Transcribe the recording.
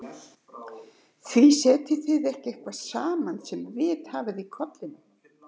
Því setjið þið ekki eitthvað saman sem vit hafið í kollinum.